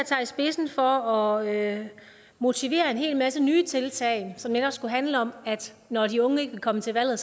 i spidsen for at motivere til en hel masse nye tiltag som netop skulle handle om at når de unge ikke ville komme til valget